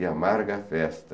E amarga a festa,